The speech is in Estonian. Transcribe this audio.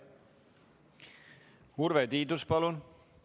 Urve Tiidus, palun!